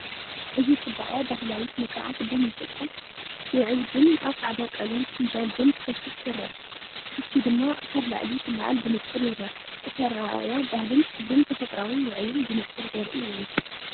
እዚ ጽባቐ ባህላዊ ስነ-ስርዓት ቡን ኢትዮጵያ! ውዑይ ቡን ኣብ ጻዕዳ ቀለም ፍንጃል ቡን ክፈስስ ይረአ፣ ትኪ ድማ ካብ ላዕሊ ክለዓል ብንጹር ይርአ። እቲ ኣረኣእያ ባህልን ክብርን ተፈጥሮኣዊ ውዑይን ብንጹር ዘርኢ እዩ።